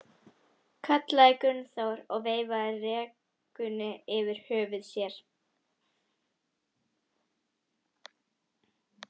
kallaði Gunnþór og veifaði rekunni yfir höfði sér.